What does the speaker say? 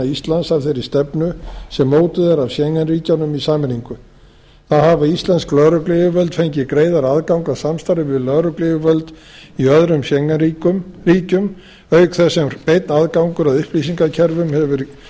íslands að þeirri stefnu sem mótuð er af schengen ríkjunum í sameiningu þar hafa íslensk lögregluyfirvöld fengið greiðari aðgang að samstarfi við lögregluyfirvöld í öðrum schengen ríkjum auk þess sem beinn aðgangur að upplýsingakerfum hefur